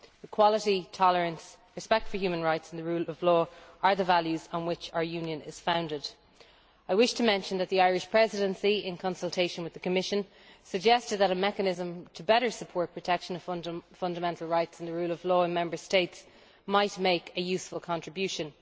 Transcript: Equality, tolerance, respect for human rights and the rule of law are the values on which our Union is founded. I wish to mention that the Irish Presidency, in consultation with the Commission, suggested that a mechanism to better support the protection of fundamental rights and the rule of law in Member States might make a useful contribution.